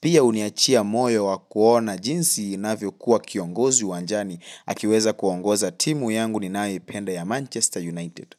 Pia uniachia moyo wa kuona jinsi inavyo kuwa kiongozi uwanjani. Akiweza kuongoza timu yangu ninaeipenda ya Manchester United.